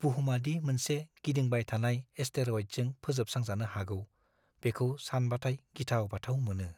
बुहुमआ दि मोनसे गिदिंबाय थानाय एसटेर'इडजों फोजोबस्रांजानो हागौ बेखौ सानबाथाय गिथाव-बाथाव मोनो।